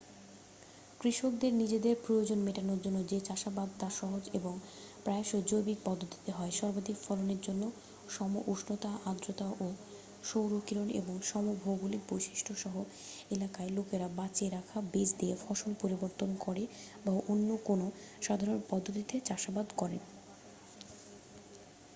কৃষকদের নিজেদের প্রয়োজন মেটানোর জন্য যে চাষাবাদ তা সহজ এবং প্রায়সই জৈবিক পদ্ধতিতে হয় সর্বাধিক ফলনের জন্য সম উষ্ণতা আর্দ্রতা ও সৌরকিরণ এবং সম ভৌগোলিক বৈশিষ্ট্য সহ এলাকায় লোকেরা বাঁচিয়ে রাখা বীজ দিয়ে ফসল পরিবর্তন করে বা অন্য কোনও সাধারণ পদ্ধতিতে চাষাবাদ করেন